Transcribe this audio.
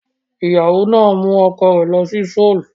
The wife took her husband to Seoul